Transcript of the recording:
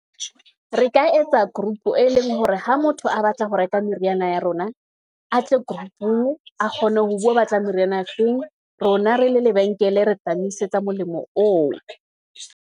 Re ka etsa group e leng hore ha motho a batla ho reka meriana ya rona, a tle group-ung, a kgone ho bua obatlang meriana e feng. Rona re le lebenkele re tla moisetsa molemo oo.